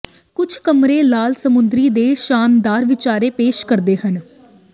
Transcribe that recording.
ਕੁਝ ਕਮਰੇ ਲਾਲ ਸਮੁੰਦਰ ਦੇ ਸ਼ਾਨਦਾਰ ਵਿਚਾਰ ਪੇਸ਼ ਕਰਦੇ ਹਨ